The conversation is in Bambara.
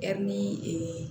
Ɛri